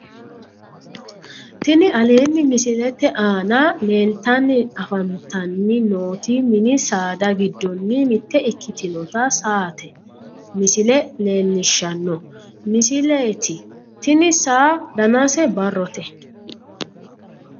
Tini aleenni misilete aana leeltanni afantanni nooti mini saada giddonni mitte ikkitinota saate misile leellishshanno misileeti tini saa danase barrote